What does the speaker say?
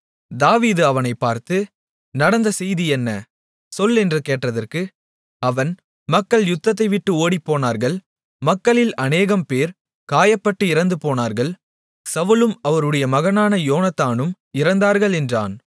தாவீது அவனைப் பார்த்து நடந்த செய்தி என்ன சொல் என்று கேட்டதற்கு அவன் மக்கள் யுத்தத்தைவிட்டு ஓடிப்போனார்கள் மக்களில் அநேகம் பேர் காயப்பட்டு இறந்துபோனார்கள் சவுலும் அவருடைய மகனான யோனத்தானும் இறந்தார்கள் என்றான்